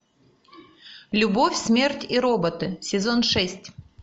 любовь смерть и роботы сезон шесть